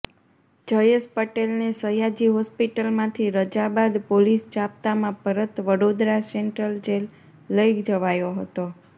જયેશ પટેલને સયાજી હોસ્પિટલમાંથી રજા બાદ પોલીસ જાપ્તામાં પરત વડોદરા સેન્ટ્રલ જેલ લઇ જવાયો હતો